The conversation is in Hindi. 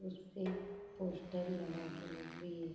उस पे पोस्टर लगा हुआ भी है।